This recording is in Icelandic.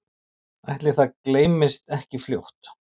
Ætli það gleymist ekki fljótt